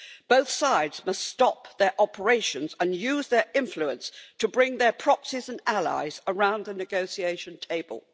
Both sides must stop their operations and use their influence to bring their proxies and allies around the negotiation table.